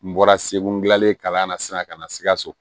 N bɔra segu dilanlen kalan na sisan ka na sikaso